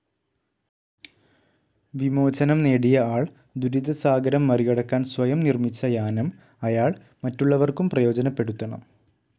വിമോചനം നേടിയ ആൾ, ദുരിതസാഗരം മറികടക്കാൻ സ്വയം നിർമ്മിച്ച യാനം, അയാൾ മറ്റുള്ളവർക്കും പ്രയോജനപ്പെടുത്തണം.